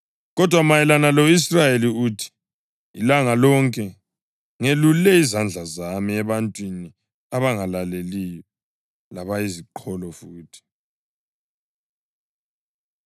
Kodwa mayelana lo-Israyeli uthi, “Ilanga lonke ngelulele izandla zami ebantwini abangalaleliyo labayiziqholo futhi.” + 10.21 U-Isaya 65.2